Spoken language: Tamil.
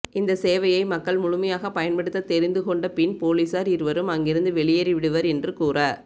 இந்த சேவையை மக்கள் முழுமையாக பயன்படுத்த தெரிந்துகொண்ட பின் பொலிஸார் இருவரும் அங்கிருந்து வெளியேறிவிடுவர் என்று கூற